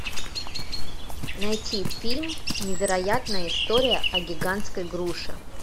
найти фильм невероятная история о гигантской груше